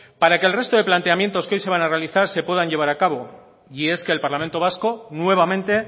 para que el resto de planteamiento que hoy se van a realizar se puedan llevar a cabo y es que el parlamento vasco nuevamente